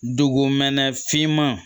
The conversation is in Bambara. Dugumɛnɛ finman